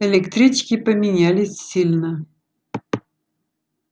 электрички поменялись сильно